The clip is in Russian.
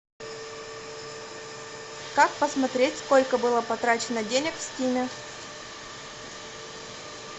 как посмотреть сколько было потрачено денег в стиме